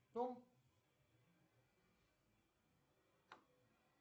том